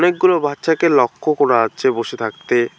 অনেকগুলো বাচ্চাকে লক্ষ্য করা আচ্ছে বসে থাকতে।